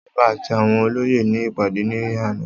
Ọba àti àwọn olóyè ní ìpàdé ní àná